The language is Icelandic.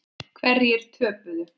Hverjir töpuðu?